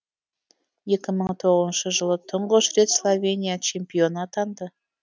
екі мың тоғызыншы жылы тұңғыш рет словения чемпионы атанды